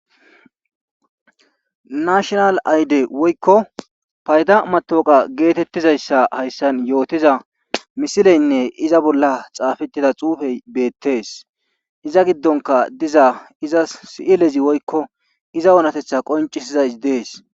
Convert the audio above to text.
National ayide woyko fayda matoqa getetizaysa haysan yootiza misileyine iza bolla xafetida xufey betes, iza gidonka diza iza si'ilez woyko iza onatetha yootizays betes.